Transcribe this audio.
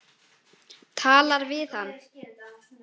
Talar við hann.